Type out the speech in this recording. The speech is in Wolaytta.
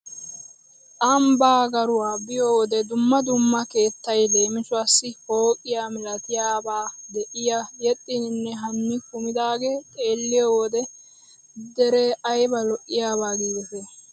Ambba garuwa biyo wode dumma dumma keettay leemisuwassi pooqiya milatiyabaa de'oy yexxninne haani kumidaagee xeelliyo wode deree ayba lo"iyaba giidetii.